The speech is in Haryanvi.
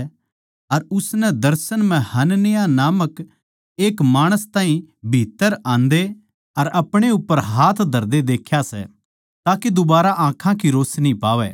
अर उसनै दर्शन म्ह हनन्याह नामक एक माणस ताहीं भीत्त्तर आंदे अर अपणे उप्पर हाथ धरदे देख्या सै ताके दुबारा आँखां की रोशनी पावै